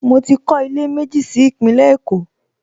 Mo ti kọ́ ilé méjì sí Ìpínlẹ̀ Èkó